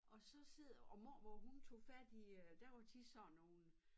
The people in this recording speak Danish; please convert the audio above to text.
Og så sidder og mormor hun tog fat i øh der var tit sådan nogen